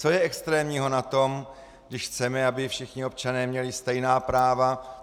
Co je extrémního na tom, když chceme, aby všichni občané měli stejná práva?